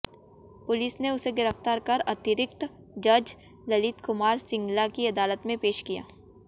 police ने उसे गिरफ्तार कर अतिरिक्त जज ललित कुमार सिंगला की अदालत में पेश किया